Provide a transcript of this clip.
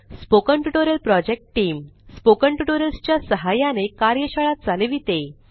spoken tutorial project team spoken tutorials च्या सहाय्याने कार्यशाळा चालविते